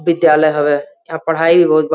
विद्यालय हवे। यहाँ पढ़ाई होत बा।